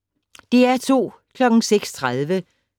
DR2